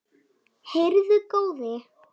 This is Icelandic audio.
Heyrðu góði!